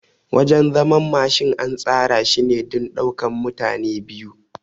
Wajan zaman Mashin an tsara shine don ɗaukan mutane biyu